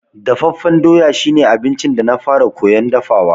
Dafaffen doya shi ne abincin da na fara koyan dafawa.